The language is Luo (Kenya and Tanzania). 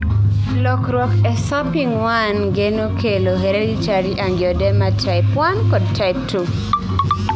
lokruok e SERPING1 gene kelo hereditary angioedema type I kod type II.